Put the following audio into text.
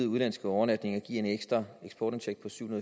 udenlandske overnatninger giver en ekstra eksportindtægt på syv